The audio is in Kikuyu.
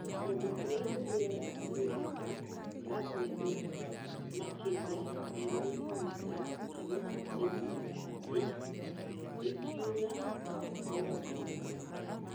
Kũndũ kũrĩa kũniaraga naihenya ,mburw nene makĩria ma milimita ngiri ĩmwe ĩkiura mwaka wothe nĩ wega.